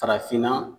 Farafinna